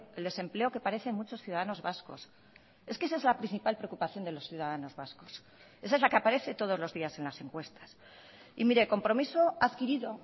el desempleo que parecen muchos ciudadanos vascos es que esa es la principal preocupación de los ciudadanos vascos esa es la que aparece todos los días en las encuestas y mire compromiso adquirido